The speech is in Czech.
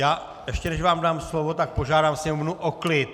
Já ještě než vám dám slovo, tak požádám sněmovnu o klid!